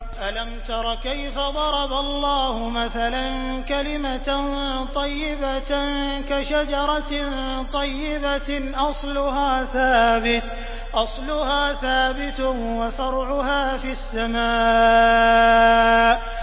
أَلَمْ تَرَ كَيْفَ ضَرَبَ اللَّهُ مَثَلًا كَلِمَةً طَيِّبَةً كَشَجَرَةٍ طَيِّبَةٍ أَصْلُهَا ثَابِتٌ وَفَرْعُهَا فِي السَّمَاءِ